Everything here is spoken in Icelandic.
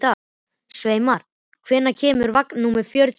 Sveinmar, hvenær kemur vagn númer fjörutíu og eitt?